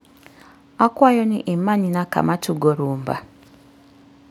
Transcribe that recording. akwayo ni imanyna kama tugo rumba